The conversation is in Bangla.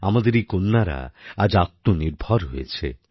আমাদের এই কন্যারা আজ আত্মনির্ভর হয়েছে